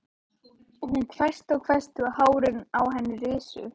Hún hvæsti og hvæsti og hárin á henni risu.